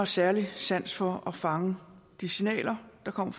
særlig sans for at fange de signaler der kommer